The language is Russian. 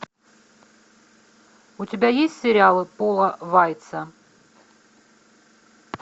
у тебя есть сериалы пола вайца